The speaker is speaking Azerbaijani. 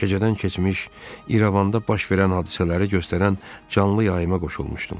Gecədən keçmiş İrəvanda baş verən hadisələri göstərən canlı yayıma qoşulmuşdum.